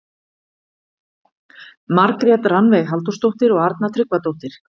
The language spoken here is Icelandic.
Margrét Rannveig Halldórsdóttir og Arna Tryggvadóttir.